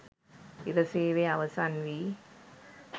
ඉර සේවය අවසන්වී